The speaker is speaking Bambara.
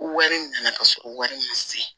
Wari nana sɔrɔ wari ma se